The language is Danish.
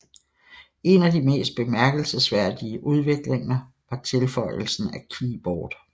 En af de mest bemærkelsesværdige udviklinger var tilføjelsen af keyboard